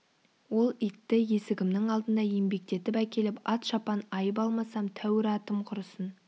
ол итті есігімнің алдына еңбектетіп әкеліп ат-шапан айып алмасам тәуір атым құрысын